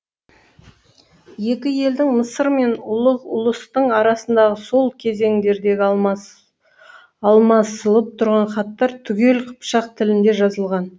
екі елдің мысыр мен ұлығ ұлыстың арасындағы сол кезеңдердегі алмасылып тұрған хаттар түгел қыпшақ тілінде жазылған